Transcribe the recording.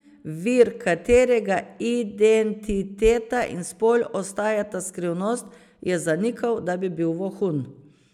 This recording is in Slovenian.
Vir, katerega identiteta in spol ostajata skrivnost, je zanikal, da bi bil vohun.